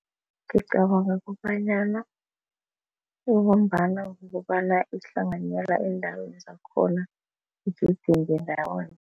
Ngicabanga kobanyana ibumbana ngokobana ihlanganyela eendaweni zakhona